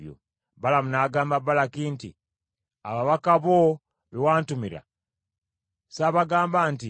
Balamu n’agamba Balaki nti, “Ababaka bo be wantumira, saabagamba nti,